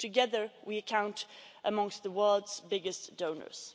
Together we count amongst the world's biggest donors.